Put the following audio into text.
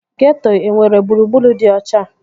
Geeto enwere gburugburu dị ọcha?